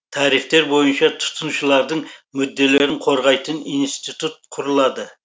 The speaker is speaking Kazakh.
тарихтер бойынша тұтынушылардың мүдделерін қорғайтын институт құрылады